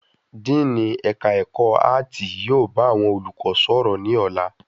Díìnì ẹ̀ka ẹ̀kọ́ áàtì yóò bá àwọn olùkọ́ sọ̀rọ̀ ní ọ̀la.